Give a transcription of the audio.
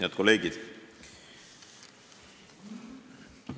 Head kolleegid!